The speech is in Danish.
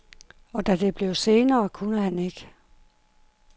Og da det blev senere, kunne han ikke.